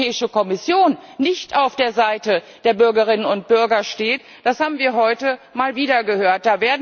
Dass die Europäische Kommission nicht auf der Seite der Bürgerinnen und Bürger steht, das haben wir heute mal wieder gehört!